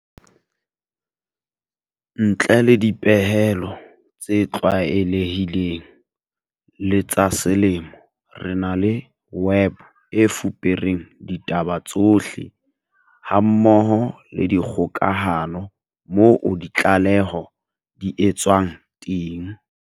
Ntle le dipehelo tse tlwaelehileng le tsa selemo, re na le web e fupereng ditaba tsohle hammoho le dikgokahano moo ditlaleho di etswang teng.